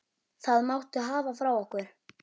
Það máttu hafa frá okkur.